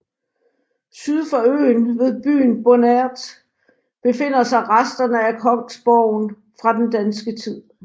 Syd for øen ved byen Bonert befinder sig resterne af kongsborgen fra den danske tid